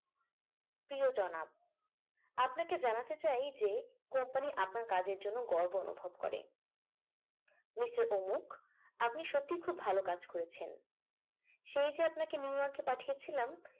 প্রিয় জনাব আপনাকে জানাতে চাই যে company আপনার কাজের জন্য গর্ব অনুভব করেন মিস্টার অমুক আপনি সত্যিই খুব ভালো কাজ করেছেন সেই যে আপনাকে নিউ ইয়র্ক কে পাঠিয়েছিলাম